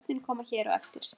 Nöfnin koma hér á eftir.